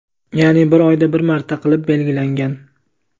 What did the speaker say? ya’ni bir oyda bir marta qilib belgilangan.